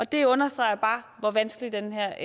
det understreger bare hvor vanskelig den her